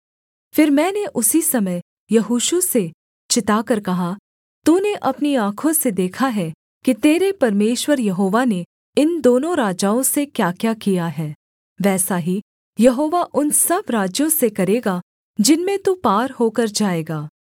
फिर मैंने उसी समय यहोशू से चिताकर कहा तूने अपनी आँखों से देखा है कि तेरे परमेश्वर यहोवा ने इन दोनों राजाओं से क्याक्या किया है वैसा ही यहोवा उन सब राज्यों से करेगा जिनमें तू पार होकर जाएगा